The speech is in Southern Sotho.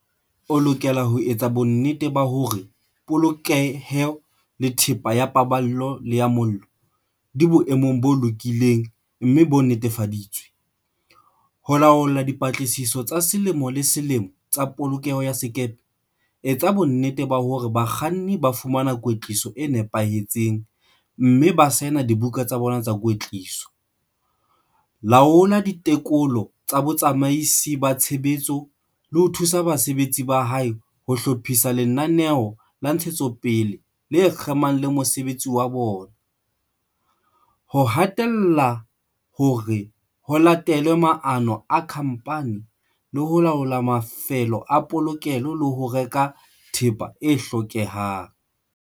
O lokela ho etsa bonnete ba hore polokeho le thepa ya pa ballo le ya mollo di boemong bo lokileng mme bo nnetefa ditswe, ho laola dipatlisiso tsa selemo le selemo tsa polokeho ya sekepe, etsa bonnete ba hore bakganni ba fumana kwetliso e nepahetseng mme ba saena dibuka tsa bona tsa kwetliso, laola ditekolo tsa botsamaisi ba tshebetso le ho thusa basebetsi ba hae ho hlo phisa lenaneo la ntshetsopele le kgemang le mosebetsi wa bona, ho hatella hore ho late lwe maano a khamphani le ho laola mafelo a polokelo le ho reka thepa e hlokehang.